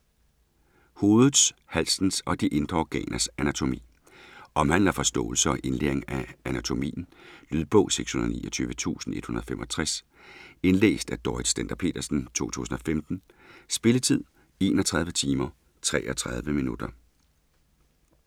Hovedets, halsens & de indre organers anatomi Omhandler forståelse og indlæring af anatomien. Lydbog 629165 Indlæst af Dorrit Stender-Petersen, 2015. Spilletid: 31 timer, 33 minutter.